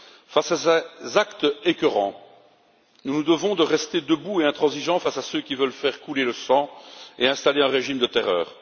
Face à ces actes écœurants, nous nous devons de rester debout et intransigeants face à ceux qui veulent faire couler le sang et installer un régime de terreur.